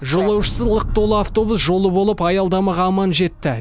жолаушысы лық толы автобус жолы болып аялдамаға аман жетті